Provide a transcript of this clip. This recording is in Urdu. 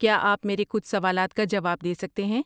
کیا آپ میرے کچھ سوالات کا جواب دے سکتے ہیں؟